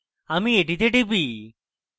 আমি এটিতে টিপি